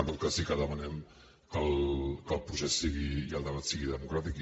en tot cas sí que demanem que el procés i el debat siguin democràtics